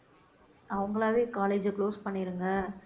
அவங்களாவே college அ close பண்ணிருங்க